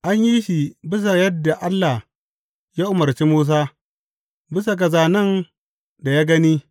An yi shi bisa ga yadda Allah ya umarci Musa, bisa ga zānen da ya gani.